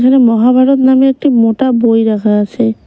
এখানে মহাভারত নামে একটি মোটা বই রাখা আছে।